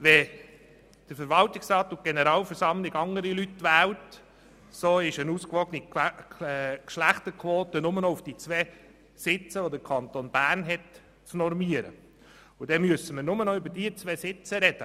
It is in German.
Wenn Verwaltungsrat und Generalversammlung andere Leute wählen, so ist eine ausgewogene Geschlechterquote nur noch über die Nominierung der zwei Sitze des Kantons Bern zu erreichen, und dann müssen wir nur darüber sprechen.